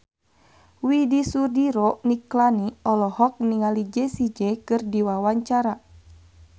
Widy Soediro Nichlany olohok ningali Jessie J keur diwawancara